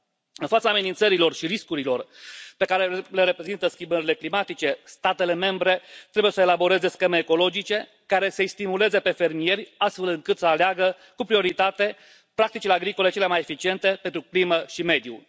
În fața amenințărilor și riscurilor pe care le reprezintă schimbările climatice, statele membre trebuie să elaboreze scheme ecologice care să îi stimuleze pe fermieri, astfel încât să aleagă, cu prioritate, practicile agricole cele mai eficiente pentru climă și mediu.